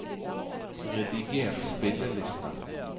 rediger spilleliste